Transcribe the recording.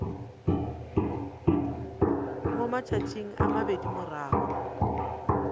mo matšatšing a mabedi morago